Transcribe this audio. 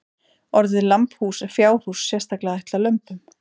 Orðið lambhús er fjárhús sérstaklega ætlað lömbum.